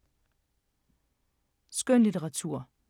Skønlitteratur